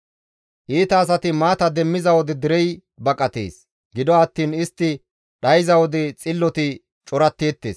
Iita asati maata demmiza wode derey baqatees; gido attiin istti dhayza wode xilloti coratteettes.